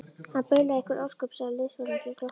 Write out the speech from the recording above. Hann baulaði einhver ósköp, sagði liðsforinginn og glotti.